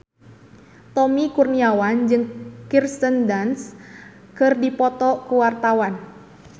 Tommy Kurniawan jeung Kirsten Dunst keur dipoto ku wartawan